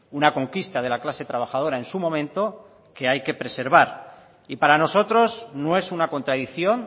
una conquista de la clase trabajadora en su momento que hay que preservar y para nosotros no es una contradicción